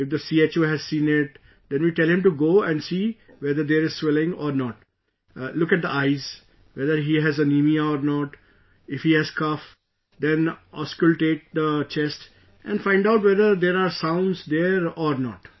If the CHO has not seen it, then we tell him to go and see whether there is swelling or not, look at the eyes, whether he has anaemia or not, if he has cough, then auscultate the chest and find out whether there are sounds there or not